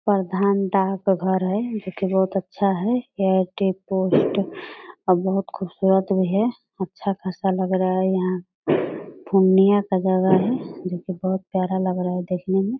प्रधान डाक घर है जो की बहुत अच्छा है ये पोस्ट और बहुत खूबसुरत भी है अच्छा खासा लग रहा है यहाँ पूर्णिया का जगह है जो की बहुत प्यारा लग रहा है देखने में।